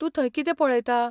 तूं थंय कितें पळयता?